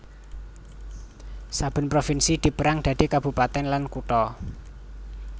Saben provinsi dipérang dadi kabupatèn lan kutha